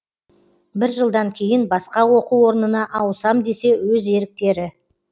бірінші жылдан кейін басқа оқу орнына ауысам десе өз еріктері